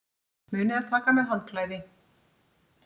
Munið að taka með handklæði!